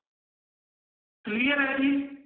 clear ਹੈ ਜੀ